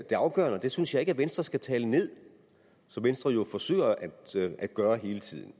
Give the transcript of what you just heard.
det afgørende og det synes jeg ikke venstre skal tale ned som venstre jo forsøger at gøre hele tiden